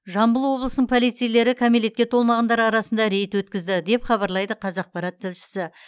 жамбыл облысының полицейлері кәмелетке толмағандар арасында рейд өткізді деп хабарлайды қазақпарат тілшісі